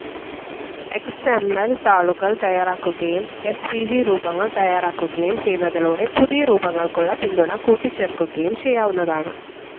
X M L താളുകൾ തയ്യാറാക്കുകയും S V G രൂപങ്ങൾ തയ്യാറാക്കുകയും ചെയ്യുന്നതിലൂടെ പുതിയ രൂപങ്ങൾക്കുള്ള പിന്തുണ കൂട്ടിച്ചേർക്കുകയും ചെയ്യാവുന്നതാണ്.